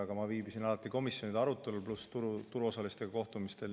Aga ma viibisin alati komisjonide arutelul pluss turuosalistega kohtumistel.